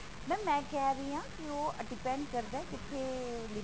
mam ਮੈਂ ਕਹਿ ਰਹੀ ਹਾਂ ਕਿ ਉਹ depend ਕਰਦਾ